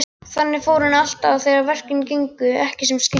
Þannig fór henni alltaf þegar verkin gengu ekki sem skyldi.